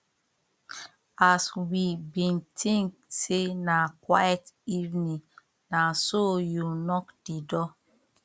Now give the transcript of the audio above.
as we been think say na quite evening na so you knock the door